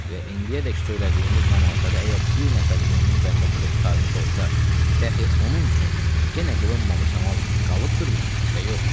Və indiyədək söylədiyimiz namazları əgər bir nəfər mömin bəndə qılıb qurtarmış olsa, dəxi onun üçün yenə qılınmamış namaz qalıbdırmı, ya yox?